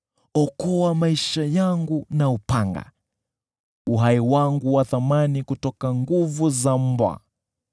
Okoa maisha yangu na upanga, uhai wangu wa thamani kutoka nguvu za mbwa.